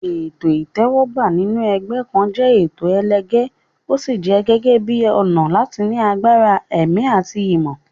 Ètò ìtẹ́wọ́gbà sínú ẹgbẹ́ kan jẹ́ ètò ẹlẹgẹ́, ó sì jẹ gẹ́gẹ́ bíi ọ̀nà láti ní agbára ẹ̀mí àti ìmọ̀.